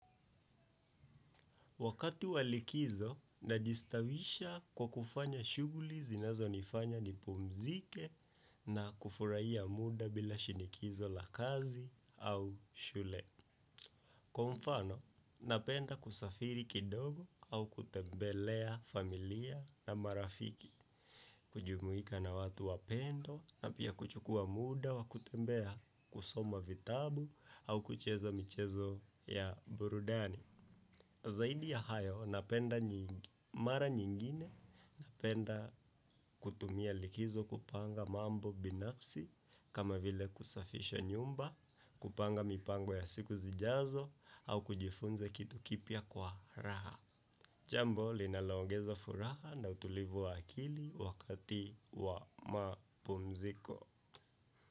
Wakati walikizo, najistawisha kwa kufanya shughuli zinazo nifanya nipumzike na kufurahia muda bila shinikizo la kazi au shule. Kwamfano, napenda kusafiri kidogo au kutembelea familia na marafiki. Kujumuika na watu wa pendo na pia kuchukua muda wa kutembea kusoma vitabu au kucheza michezo ya burudani. Zaidi ya hayo, napenda mara nyingine, napenda kutumia likizo kupanga mambo binafsi, kama vile kusafisha nyumba, kupanga mipango ya siku zijazo, au kujifunza kitu kipya kwa raha. Jambo, linaloongeza furaha na utulivu wa akili wakati wa mapumziko.